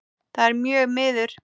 Það er mjög miður.